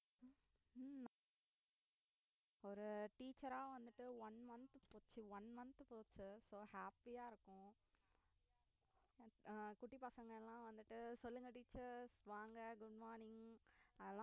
ஒரு teacher ஆ வந்துட்டு one month போச்சு one month போச்சு so happy ஆ இருக்கும் ஆஹ் குட்டி பசங்களாம் வந்துட்டு சொல்லுங்க teacher வாங்க good morning அதெல்லாம்